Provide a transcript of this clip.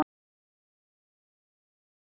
Þungbær og erfið niðurstaða